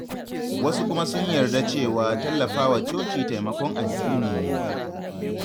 Wasu kuma sun yarda cewa tallafawa coci taimakon addini ne.